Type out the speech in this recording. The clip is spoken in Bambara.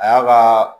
A y'a kaa